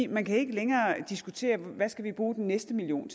man kan ikke længere diskutere hvad vi skal bruge den næste million